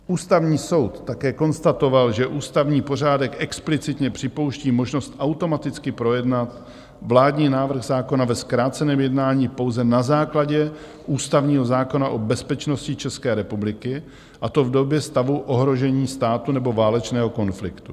Ústavní soud také konstatoval, že ústavní pořádek explicitně připouští možnost automaticky projednat vládní návrh zákona ve zkráceném jednání pouze na základě ústavního zákona o bezpečnosti České republiky, a to v době stavu ohrožení státu nebo válečného konfliktu.